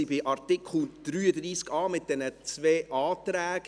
Wir waren beim Artikel 33a mit den zwei Anträgen.